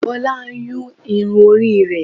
bola n Yún irún ori re